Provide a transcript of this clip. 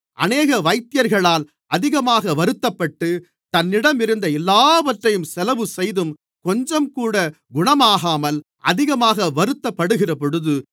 அநேக வைத்தியர்களால் அதிகமாக வருத்தப்பட்டு தன்னிடம் இருந்த எல்லாவற்றையும் செலவு செய்தும் கொஞ்சம்கூட குணமாகாமல் அதிகமாக வருத்தப்படுகிறபொழுது